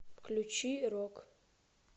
включи рок